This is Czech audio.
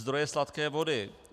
Zdroje sladké vody.